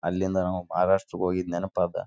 ಏನೋ ಟ್ರೈನ್ ಬಂದಾಗ ಹೋಗಬಹುದು ಇಲ್ಲ ಇರಬಹುದು.